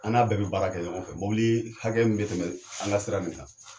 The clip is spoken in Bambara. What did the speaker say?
An n'a bɛɛ be baara kɛ ɲɔgɔn fɛ mɔbili hakɛ min be tɛmɛ anka sira in kan